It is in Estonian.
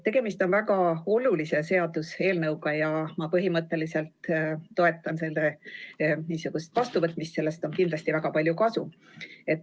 Tegemist on väga olulise seaduseelnõuga ja ma põhimõtteliselt toetan selle seaduse vastuvõtmist, sellest on kindlasti väga palju kasu.